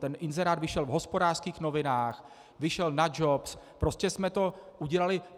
Ten inzerát vyšel v Hospodářských novinách, vyšel na Jobs, prostě jsme to udělali.